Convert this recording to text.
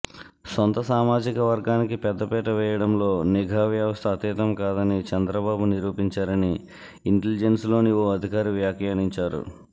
సొంత సామాజికవర్గానికి పెద్దపీట వేయడంలో నిఘా వ్యవస్థ అతీతం కాదని చంద్రబాబు నిరూపించారని ఇంటెలిజెన్స్లోని ఓ అధికారి వ్యాఖ్యానించారు